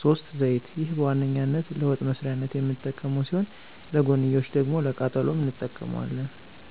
፫) ዘይት፦ ይህ በዋነኛነት ለወጥ መስሪያነት የምንጠቀመው ሲሆን ለጎንዮሽ ደግሞ ለቃጠሎም እንጠቀመዋለን።